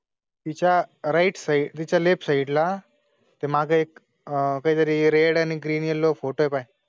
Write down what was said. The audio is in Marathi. तिच्या राइट साइ तिच्या लेफ्ट साइड ला ते मागे एक आहे. जरी रेड आणि ग्रीन यलो फोटो आहे पाय